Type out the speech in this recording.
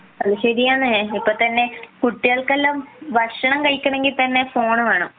അത് ശരി തന്നെ ഇപ്പംതന്നെ കുട്ടികൾക്ക് എല്ലാം ഭക്ഷണം കഴിക്കണമെങ്കിൽ തന്നെ ഫോൺ വേണം